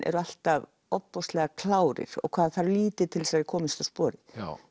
eru alltaf ofboðslega klárir og hvað það þarf lítið til að þeir komist á sporið